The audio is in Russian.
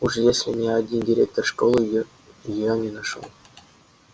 уж если ни один директор школы её её не нашёл